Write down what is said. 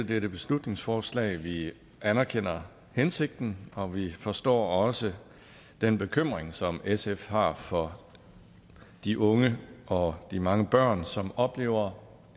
dette beslutningsforslag vi anerkender hensigten og vi forstår også den bekymring som sf har for de unge og de mange børn som oplever